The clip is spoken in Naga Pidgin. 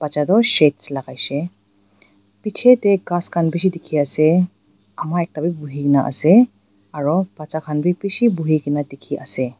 bacha toh shades lakai shey pichae tae ghas khan bishi dikhi ase ama ekta bi buhikae na ase aro bacha khan bi bishi buhikae na dikhiase.